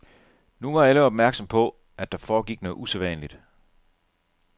Nu var alle opmærksomme på, at der foregik noget usædvanligt.